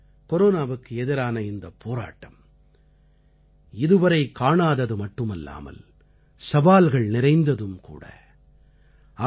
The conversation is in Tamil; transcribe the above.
நண்பர்களே கொரோனாவுக்கு எதிரான இந்தப் போராட்டம் இதுவரை காணாதது மட்டுமல்லாமல் சவால்கள் நிறைந்ததும் கூட